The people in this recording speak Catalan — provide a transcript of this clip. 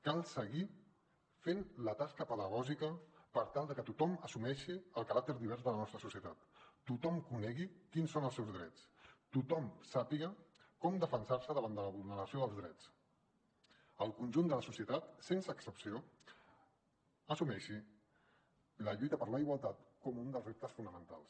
cal seguir fent la tasca pedagògica per tal de que tothom assumeixi el caràcter divers de la nostra societat tothom conegui quins són els seus drets tothom sàpiga com defensar se davant de la vulneració dels drets el conjunt de la societat sense excepció assumeixi la lluita per la igualtat com un dels reptes fonamentals